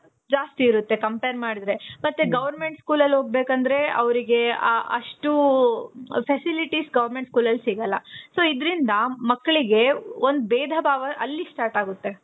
ಜಾಸ್ತಿ ಇರುತ್ತೆ. compare ಮಾಡಿದ್ರೆ. ಮತ್ತೆ government school ಅಲ್ಲಿ ಹೋಗ್ಬೇಕು ಅಂದ್ರೆ ಅವ್ರಿಗೆ ಅಷ್ಟು facilities government school ಅಲ್ಲಿ ಸಿಗಲ್ಲ. so ಇದ್ರಿಂದ ಮಕ್ಕಳಿಗೆ ಒಂದು ಬೇಧ ಭಾವ ಅಲ್ಲಿ start ಆಗುತ್ತೆ.